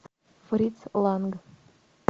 фриц ланг